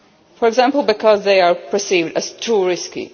funded, for example because they are perceived as too risky.